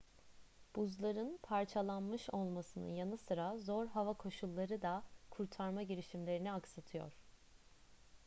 buzların parçalanmış olmasının yanı sıra zor hava koşulları da kurtarma girişimlerini aksatıyor